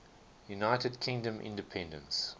united kingdom independence